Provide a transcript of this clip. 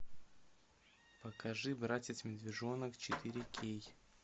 покажи братец медвежонок четыре кей